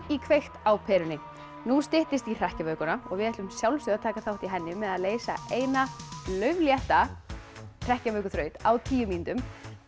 í kveikt á perunni nú styttist í hrekkjavökuna og við ætlum að sjálfsögðu að taka þátt í henni með að leysa eina lauflétta hrekkjavökuþraut á tíu mínútum